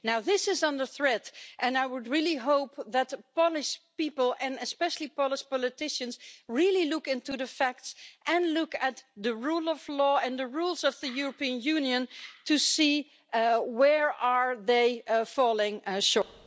Now this is under threat, and I would really hope that the Polish people and especially Polish politicians really look into the facts and look at the rule of law and the rules of the European Union to see where they are falling short.